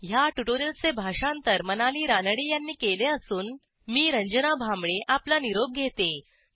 ह्या ट्युटोरियलचे भाषांतर मनाली रानडे यांनी केले असून मी रंजना भांबळे आपला निरोप घेते